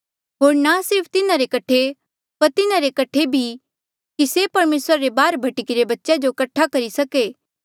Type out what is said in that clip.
होर ना सिर्फ तिन्हारे कठे पर तिन्हारे कठे भी कि से परमेसरा रे बाहर भटकी रे बच्चेया जो कठा करी सके